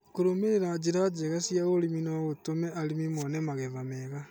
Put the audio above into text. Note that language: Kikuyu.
Kũrũmĩrĩra njĩra njega cia ũrĩmi no gũtũme arĩmi mone magetha mega.